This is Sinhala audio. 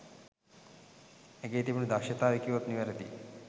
ඇගේ තිබුණු දක්ෂතාවය කීවොත් නිවැරදියි.